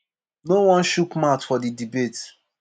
no wan chook mouth for di debate.